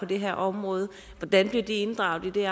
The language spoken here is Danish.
det her område hvordan bliver de inddraget i